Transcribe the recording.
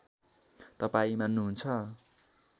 तपाईँ मान्नुहुन्छ